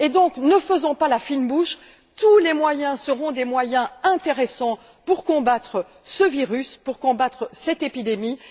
Donc, ne faisons pas la fine bouche, tous les moyens seront des moyens intéressants pour combattre ce virus, pour combattre cette épidémie.